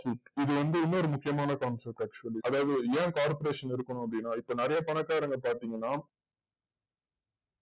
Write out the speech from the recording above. இது வந்து இன்னொரு முக்கியமான concept actually அதாவது ஏன் corporation இருக்கணு அப்டின்ன இப்போ நறைய பணக்காரங்க பாத்திங்கனா